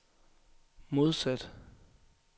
modsat